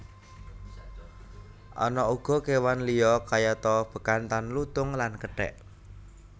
Ana uga kewan liya kayata bekantan lutung lan kethek